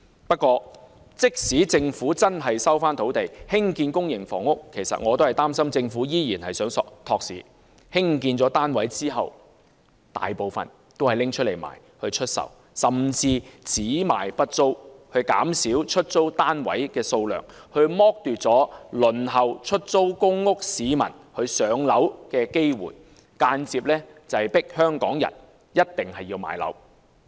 不過，即使政府真的收回土地興建公營房屋，我擔心政府依然是想"托市"，興建的單位大部分用來出售，甚至只賣不租，減少出租單位的數量，剝奪輪候出租公屋市民"上樓"的機會，間接迫香港人買樓。